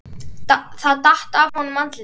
Það datt af honum andlitið.